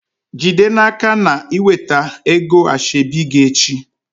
Jide n'aka na i weta ego asheobi gi echi!